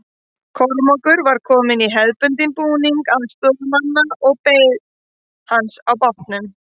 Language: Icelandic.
Kormákur var kominn í hefðbundinn búning aðstoðarmanna og beið hans á bátnum.